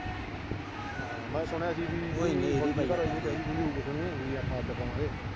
ਹਾਂ, ਮੈਂ ਸੁਣਿਆ ਸੀ ਵੀ ਉਹਦੀ ਘਰ ਆਲੀ ਕਹਿੰਦੀ ਕੂਹੰਦੀ ਹੋਉਗੀ ਕੁਛ ਵੀ ਆਪਾ ਅੱਡ ਪਾਵਾਂਗੇ।